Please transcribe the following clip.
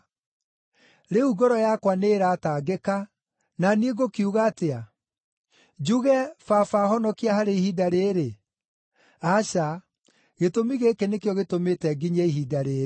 “Rĩu ngoro yakwa nĩĩratangĩka, na niĩ ngũkiuga atĩa? Njuge, ‘Baba honokia harĩ ihinda rĩĩrĩ’? Aca, gĩtũmi gĩkĩ nĩkĩo gĩtũmĩte nginyie ihinda rĩĩrĩ.